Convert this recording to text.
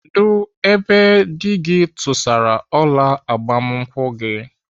Kedụ ebe dị gị tụsara ọla agbamakwụkwọ gị?